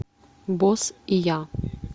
босс и я